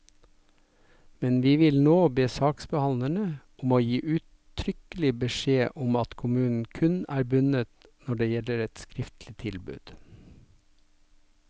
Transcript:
Men vi vil nå be saksbehandlerne om å gi uttrykkelig beskjed om at kommunen kun er bundet når det er gitt et skriftlig tilbud.